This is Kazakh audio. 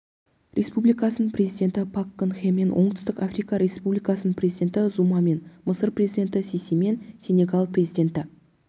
республикасының президенті пак кын хемен оңтүстік африка республикасының президенті зумамен мысыр президенті сисимен сенегал президенті